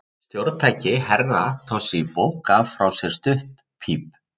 Stjórntæki Herra Toshizo gaf frá sér stutt píp.